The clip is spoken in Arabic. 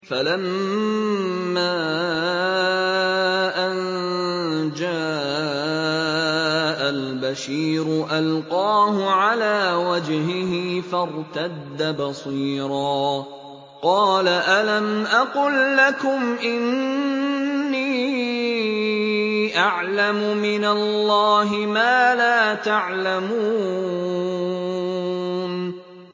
فَلَمَّا أَن جَاءَ الْبَشِيرُ أَلْقَاهُ عَلَىٰ وَجْهِهِ فَارْتَدَّ بَصِيرًا ۖ قَالَ أَلَمْ أَقُل لَّكُمْ إِنِّي أَعْلَمُ مِنَ اللَّهِ مَا لَا تَعْلَمُونَ